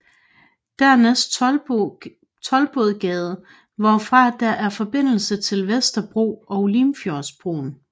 Dernæst Toldbodgade hvorfra der er forbindelse til Vesterbro og Limfjordsbroen